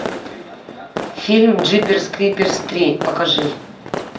фильм джиперс криперс три покажи